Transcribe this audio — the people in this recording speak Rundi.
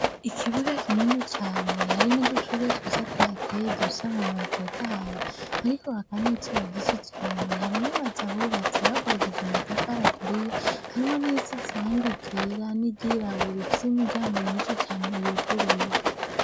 Ikibuga kinini cane, hari n'udushurwe twiza tuhateye dufise amababi atotahaye, hariko haraka n'izuba ryinshi cane. Hari n'amazu ahubatse, yubakishije amatafari aturiye, harimwo n'iyisize irangi ryera, n'iryirabura, ifise imiryango myinshi cane yuguruye.